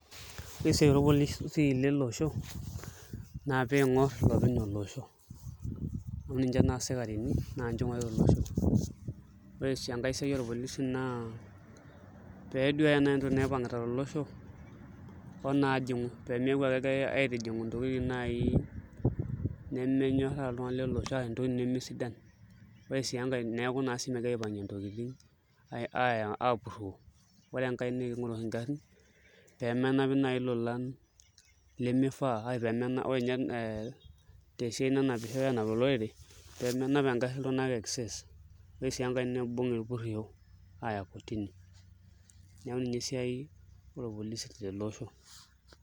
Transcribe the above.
Ore esiai orpolisi lele osho ,naa pee eingor ilopeny olosho amu ninche naa sikarini naa ninche eingorita olosho ,ore enkae siai orpolisi na pee eduaya naaji entoki naipangita tolosho onajingu ,pee neeku ake agira aitijingu ntokiting naaji ntokiting nemesidan. ore sii enkae neeku megirae aipangie ntokiting apuroo ,ore enkae naa kingor naaji nkarin pee menap naaji lolan lemifaa ,ore ninye tesiai nanapishoi anap olorere pee menap engari iltunganak excess ore sii enkae naa pee eibung irpurisho aaya kotini neeku ninye esiai orpolisi tele osho.